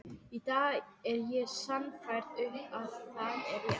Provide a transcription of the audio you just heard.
Í dag er ég sannfærð um að það er rétt.